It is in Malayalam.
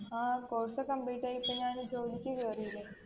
ആ course complete ആയി ഇപ്പൊ ഞാൻ ജോലിക്ക് കേറില്ലേ